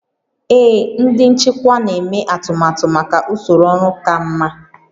Ee, ndị nchịkwa na-eme atụmatụ maka usoro ọrụ ka mma